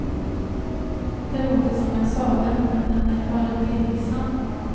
Det låter som en saga, men den är bara delvis sann.